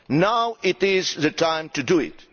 now is the time to do it.